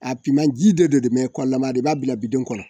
A finman ji de don dɛ kɔlama i b'a bila bidon kɔnɔ